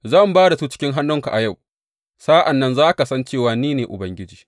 Zan ba da su cikin hannunka a yau, sa’an nan za ka san cewa ni ne Ubangiji.’